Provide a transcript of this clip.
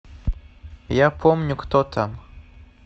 я помню кто там